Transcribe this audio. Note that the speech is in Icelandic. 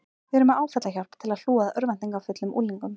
Við erum með áfallahjálp til að hlúa að örvæntingarfullum unglingum.